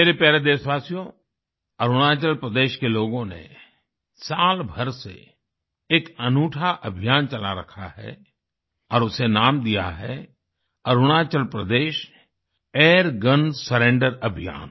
मेरे प्यारे देशवासियो अरुणाचल प्रदेश के लोगों ने साल भर से एक अनूठा अभियान चला रखा है और उसे नाम दिया है अरुणाचल प्रदेश एयरगन सरेंडर अभियान